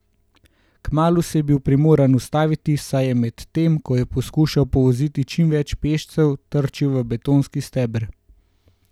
Kmalu se je bil primoran ustaviti, saj je med tem, ko je poskušal povoziti čim več pešcev, trčil v betonski steber.